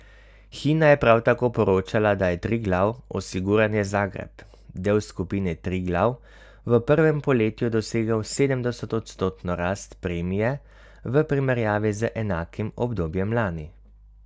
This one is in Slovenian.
Hina je prav tako poročala, da je Triglav Osiguranje Zagreb, del skupine Triglav, v prvem polletju dosegel sedemodstotno rast premije v primerjavi z enakim obdobjem lani.